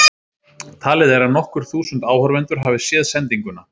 Talið er að nokkur þúsund áhorfendur hafi séð sendinguna.